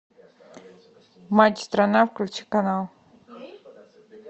матч страна включи канал